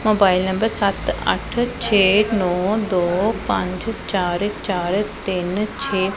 Mobile number ਸੱਤ ਅੱਠ ਛੇ ਨੌ ਦੋ ਪੰਜ ਚਾਰ ਚਾਰ ਤਿੰਨ ਛੇ।